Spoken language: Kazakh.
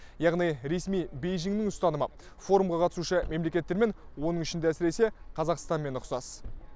яғни ресми бейжіннің ұстанымы форумға қатысушы мемлекеттермен оның ішінде әсіресе қазақстанмен ұқсас